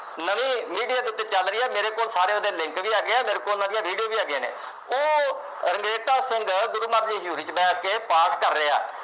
ਨਵੀਂ ਮੀਡੀਆ ਦੇ ਉੱਤੇ ਚੱਲ ਰਹੀ ਹੈ, ਮੇਰੇ ਕੋਲ ਸਾਰਿਆਂ ਦੇ link ਵੀ ਹੈਗੇ ਆ, ਮੇਰੇ ਕੋਲ ਉਹਨਾ ਦੀਆਂ ਵੀਡੀਓ ਵੀ ਹੈਗੀਆਂ ਨੇ, ਉਹ ਰੰਘਰੇਟਾ ਸਿੰਘ ਗੁਰੂ ਮਹਾਰਾਜ ਦੀ ਹਜ਼ੂਰੀ ਚ ਬੈਠ ਕੇ ਪਾਠ ਕਰ ਰਿਹਾ।